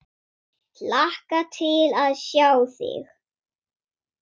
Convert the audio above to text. Hlakka til að sjá þig.